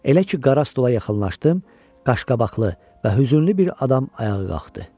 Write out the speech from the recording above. Elə ki qara stola yaxınlaşdım, qaşqabaqlı və hüzünlü bir adam ayağa qalxdı.